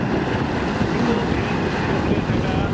କିନ୍ତୁ ଧୀରେ ଧୀରେ ସେଇଟା